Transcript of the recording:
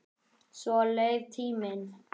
Svo leið tíminn.